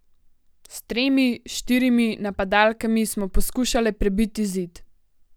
S tremi, štirimi napadalkami smo poskušale prebiti zid.